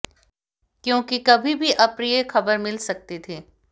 क्यों कि कभी भी अप्रिय ख़बर मिल सकती थी